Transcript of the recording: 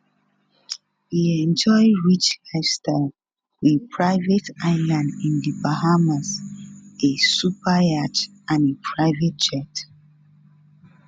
e enjoy rich lifestyle with private island in di bahamas a superyacht and a private jet